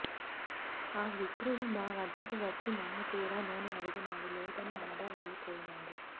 ఆ విప్రుడు మా వద్దకు వచ్చి మమ్ము కూడా నూనె అడిగినాడు లేదని అనగా వెళ్ళిపొయినాడు